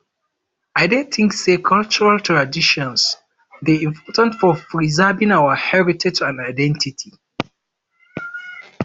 i dey think say cultural traditons dey important for preserving our heritage and identity